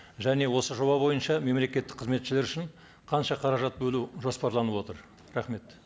және осы жоба бойынша мемлекеттік қызметшілер үшін қанша қаражат бөлу жоспарланып отыр рахмет